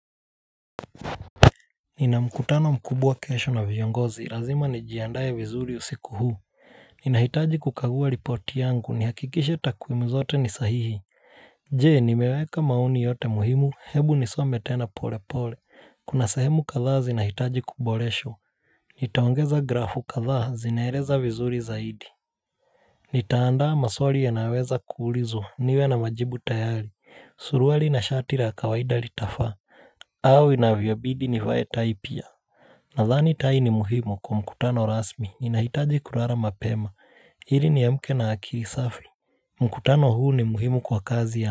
Ninamkutano mkubwa kesho na viongozi, lazima nijiandae vizuri usiku huu Ninahitaji kukaguwa ripoti yangu nihakikishe takwimu zote ni sahihi Jee nimeweka mauni yote muhimu, hebu nisome tena pole pole, kuna sehemu kathaa zi nahitaji kuboreshwa Nitaongeza grafu kathaa, zinaeleza vizuri zaidi Nitaandaa maswali yanayoweza kuulizwa, niwe na majibu tayari, suruali na shati la kawaida litafaa au inavyobidi nivae taipia Nadhani tai ni muhimu kwa mkutano rasmi ni nahitaji kulala mapema ili niamke na akili safi mkutano huu ni muhimu kwa kazi ya.